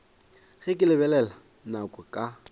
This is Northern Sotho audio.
ge ke lebelela nako ka